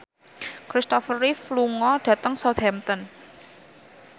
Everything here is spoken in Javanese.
Christopher Reeve lunga dhateng Southampton